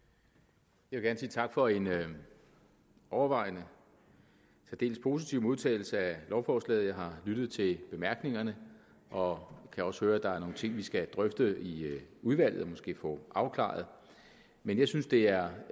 jeg vil gerne sige tak for en overvejende særdeles positiv modtagelse af lovforslaget jeg har lyttet til bemærkningerne og kan også høre at der er nogle ting vi skal have drøftet i udvalget og måske få afklaret men jeg synes det er